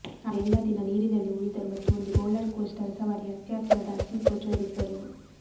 ಆದರೆ ಎಲ್ಲಾ ದಿನ ನೀರಿನಲ್ಲಿ ಉಳಿದರು ಮತ್ತು ಒಂದು ರೋಲರ್ ಕೋಸ್ಟರ್ ಸವಾರಿ ಅತ್ಯಾತುರದ ಹಸಿವು ಪ್ರಚೋದಿಸಲು